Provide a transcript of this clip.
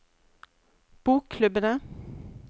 bokklubbene